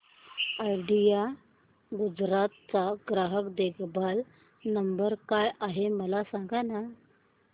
idea Gujarat चा ग्राहक देखभाल नंबर काय आहे मला सांगाना